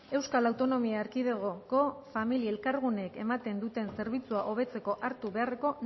euskal autonomia erkidegoko familia elkarguneek ematen duten zerbitzua hobetzeko hartu beharreko